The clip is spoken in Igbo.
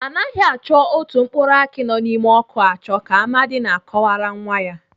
Anaghị achọ otu mkpụrụ akị nọ n'ime ọkụ achọ ka Amadi na-akọwara nwa ya.